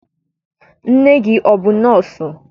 Nne gị abụ nọọsụ?